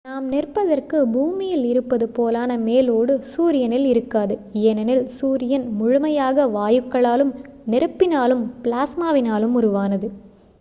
நாம் நிற்பதற்கு பூமியில் இருப்பது போலான மேல் ஓடு சூரியனில் இருக்காது ஏனெனில் சூரியன் முழுமையாக வாயுக்களாலும் நெருப்பினாலும் பிளாஸ்மாவினாலும் உருவானது